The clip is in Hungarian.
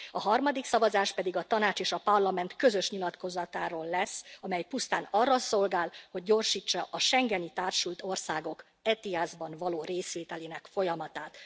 A harmadik szavazást pedig a Tanács és a Parlament közös nyilatkozatáról lesz, amely pusztán arra szolgál, hogy gyorsítsa a schengeni társult országok ETIAS ban való részvételének folyamatát.